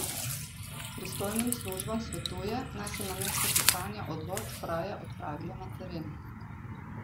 Pristojnim službam svetuje, naj se namesto pisanja odločb raje odpravijo na teren.